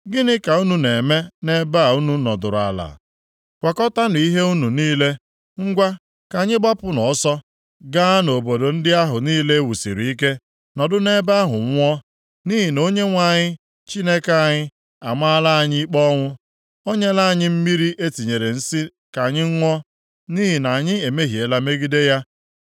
Gịnị ka unu na-eme nʼebe a unu nọdụrụ ala? Kwakọtaanụ ihe unu niile. Ngwa, ka anyị gbapụnụ ọsọ gaa nʼobodo ndị ahụ niile e wusiri ike nọdụ nʼebe ahụ nwụọ! Nʼihi na Onyenwe anyị Chineke anyị amaala anyị ikpe ọnwụ. O nyela anyị mmiri e tinyere nsi ka anyị ṅụọ, nʼihi na anyị emehiela megide ya.